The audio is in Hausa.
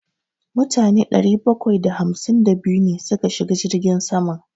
Mutane ɗari bakwai da hamsin da biyu ne suka shiga jirgin saman.